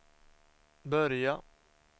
börja